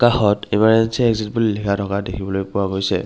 কাষত ইমাৰৰ্জেন্সী এক্সিত বুলি লিখা থকা দেখিবলৈ পোৱা গৈছে।